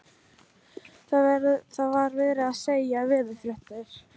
Það var verið að segja veðurfréttir.